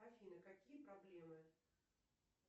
афина какие проблемы